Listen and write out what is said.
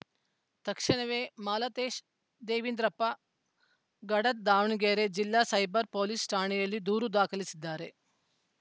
ತಕ್ಷಣವೇ ಮಾಲತೇಶ ದೇವಿಂದ್ರಪ್ಪ ಗಡದ್‌ ದಾವಣಗೆರೆ ಜಿಲ್ಲಾ cyber police ಠಾಣೆಯಲ್ಲಿ ದೂರು ದಾಖಲಿಸಿದ್ದಾರೆ